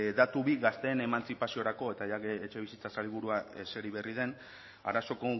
datu bi gazteen emantzipaziorako eta etxebizitza sailburua eseri berri den arazo